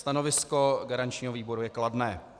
Stanovisko garančního výboru je kladné.